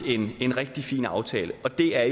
en rigtig fin aftale og det er